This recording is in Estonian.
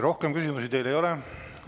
Rohkem küsimusi teile ei ole.